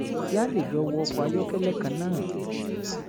kí a lè jọ wọ ọkọ̀ ayọ́kẹ́lẹ́ kan náà